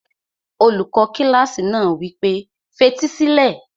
Olùkọ́ kílásì náà wí pé, fetí sílẹ̀!